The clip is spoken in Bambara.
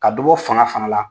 Ka dɔ bɔ fanga fana